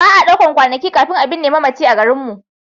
Ba a ɗaukar kwanaki kafin a binne mamaci a garinmu.